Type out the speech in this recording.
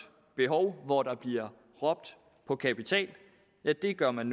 behov hvor der bliver råbt på kapital ja der gør man